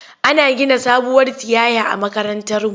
Ana gina sabuwar tiyaya a makarantarmu.